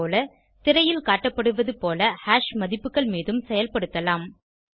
அதேபோல திரையில் காட்டப்படுவதுபோல ஹாஷ் மதிப்புகள் மீதும் செயல்படுத்தலாம்